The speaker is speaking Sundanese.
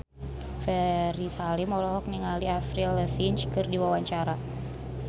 Ferry Salim olohok ningali Avril Lavigne keur diwawancara